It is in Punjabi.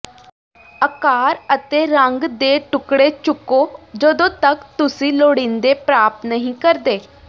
ਆਕਾਰ ਅਤੇ ਰੰਗ ਦੇ ਟੁਕੜੇ ਚੁੱਕੋ ਜਦੋਂ ਤੱਕ ਤੁਸੀਂ ਲੋੜੀਂਦੇ ਪ੍ਰਾਪਤ ਨਹੀਂ ਕਰਦੇ